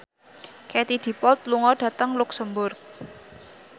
Katie Dippold lunga dhateng luxemburg